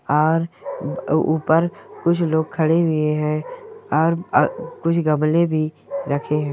और ऊपर कुछ लोग खड़े हुए है और कुछ गमले भी रखे है।